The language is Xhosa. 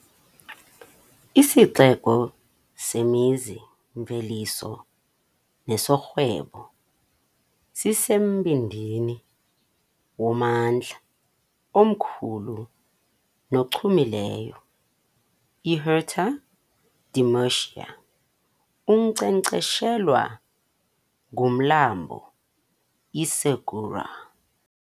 Isixeko semizi-mveliso nesorhwebo, sisembindini wommandla omkhulu nochumileyo, iHuerta de Murcia, onkcenkceshelwa ngumlambo iSegura.